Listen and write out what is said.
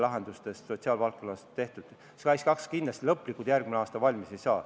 SKAIS2 kindlasti lõplikult järgmisel aastal valmis ei saa.